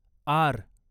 R